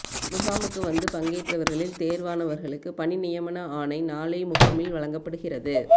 முகாமுக்கு வந்து பங்கேற்றவர்களில் தேர்வானவர்களுக்கு பணி நியமன ஆணை நாளை முகாமில் வழங்கப்படுகிறது